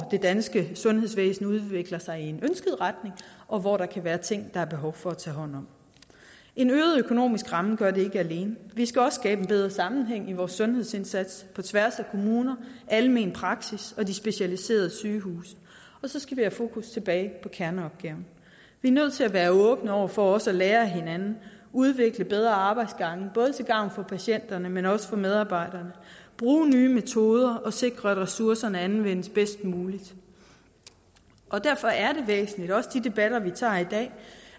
det danske sundhedsvæsen udvikler sig i en ønsket retning og hvor der kan være ting der er behov for at blive taget hånd om en øget økonomisk ramme gør det ikke alene vi skal også skabe en bedre sammenhæng i vores sundhedsindsats på tværs af kommuner almen praksis og de specialiserede sygehuse og så skal vi have fokus tilbage på kerneopgaven vi er nødt til at være åbne over for også at lære af hinanden udvikle bedre arbejdsgange både til gavn for patienterne men også for medarbejderne bruge nye metoder og sikre at ressourcerne anvendes bedst muligt derfor er det væsentligt også i de debatter vi tager i dag